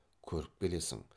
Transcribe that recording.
көріп келесің